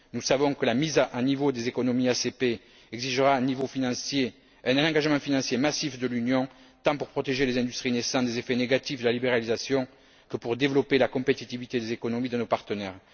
Nous savons que la mise à niveau des économies ACP exigera un engagement financier massif de l'Union tant pour protéger les industries naissantes des effets négatifs de la libéralisation que pour développer la compétitivité des économies de nos partenaires.